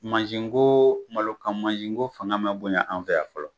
Masin ko, malo kan mansin ko fanga ma bonya an fɛ yan fɔlɔ.